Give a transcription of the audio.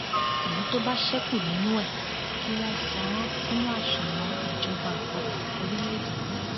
èyí tó bá ṣẹkù nínú ẹ kí wọn san án sínú àsùnwọn ìjọba àpapọ orílẹèdè yìí